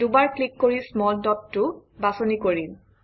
দুবাৰ ক্লিক কৰি small dot টো বাছনি কৰিম